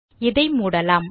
இதை மூடலாம்